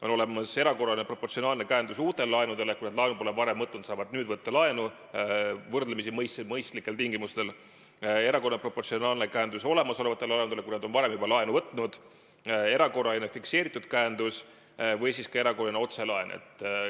On olemas erakorraline proportsionaalne käendus uute laenude puhul, st kui nad laenu pole varem võtnud, siis saavad nüüd võtta laenu võrdlemisi mõistlikel tingimustel, erakorraline proportsionaalne käendus olemasolevate laenude puhul, kui nad on juba varem laenu võtnud, erakorraline fikseeritud käendus või ka erakorraline otselaen.